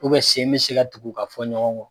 sen bɛ se dugu ka fɔn ɲɔgɔn kɔ.